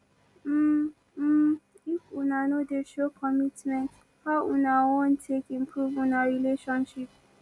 um um if una no dey show commitment how una wan take improve una relationship